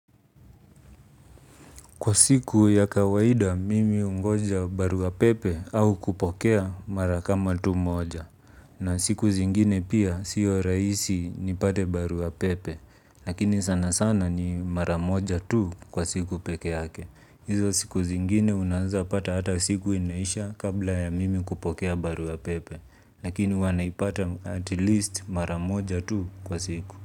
Kwa siku ya kawaida mimi hungoja baruapepe au kupokea mara kama tu moja. Na siku zingine pia sio rahisi nipate baruapepe. Lakini sana sana ni mara moja tu kwa siku pekee yake. Hizo zingine unaezapata hata siku inaisha kabla ya mimi kupata baruapepe. Lakini huwa naipata at least mara moja tu kwa siku.